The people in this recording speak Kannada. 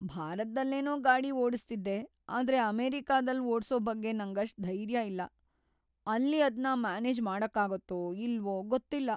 ಭಾರತ್ದಲ್ಲೇನೋ ಗಾಡಿ ಓಡ್ಸ್ತಿದ್ದೆ ಆದ್ರೆ ಅಮೆರಿಕಾದಲ್ಲ್‌ ಓಡ್ಸೋ ಬಗ್ಗೆ ನಂಗಷ್ಟ್‌ ಧೈರ್ಯ ಇಲ್ಲ. ಅಲ್ಲಿ ಅದ್ನ ಮ್ಯಾನೇಜ್ ಮಾಡಕ್ಕಾಗತ್ತೋ ಇಲ್ವೋ ಗೊತ್ತಿಲ್ಲ.